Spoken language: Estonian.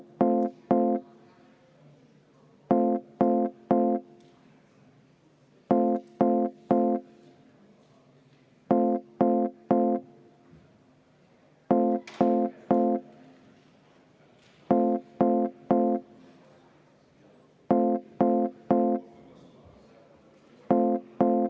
V a h e a e g